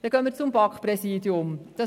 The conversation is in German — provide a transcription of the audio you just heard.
Wir gehen zum BaK-Präsidium über.